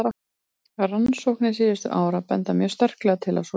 Rannsóknir síðustu ára benda mjög sterklega til að svo sé.